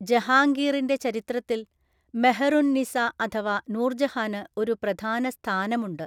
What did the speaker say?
ജഹാംഗീറിന്റെ ചരിത്രത്തിൽ മെഹ്ർ ഉൻ -നിസ അഥവാ നൂർജഹാന് ഒരു പ്രധാന സ്ഥാനമുണ്ട്.